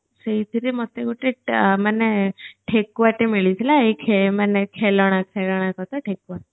ସେଇଥିରେ ମତେ ଗୋଟେ ମାନେ ଠେକୁଆଟେ ମିଳିଥିଲା ହେଇ ମାନେ ଖେଳଣା ଖେଳଣା କଥା ଠେକୁଆ